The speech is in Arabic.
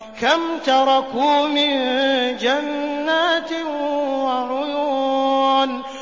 كَمْ تَرَكُوا مِن جَنَّاتٍ وَعُيُونٍ